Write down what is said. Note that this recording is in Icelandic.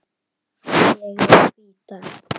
Ég vil hvíta.